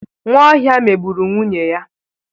Nwaohia megburu nwunye ya.